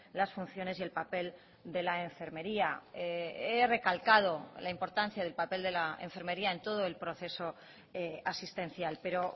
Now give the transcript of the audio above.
las funciones y el papel de la enfermería he recalcado la importancia del papel de la enfermería en todo el proceso asistencial pero